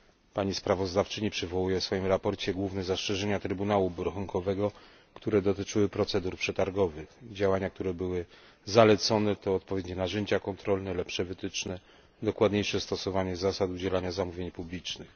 Pani sprawozdawczyni przywołuje w swoim sprawozdaniu główne zastrzeżenia Trybunału Obrachunkowego, które dotyczyły procedur przetargowych działania, które były zalecone to odpowiednie narzędzia kontrolne, lepsze wytyczne, dokładniejsze stosowanie zasad udzielania zamówień publicznych.